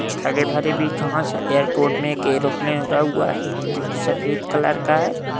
कुछ हरे-भरे भी घाँस है। एअरपोर्ट में एक एरोप्लेन उरा हुआ है जोकि सपेद कलर का है।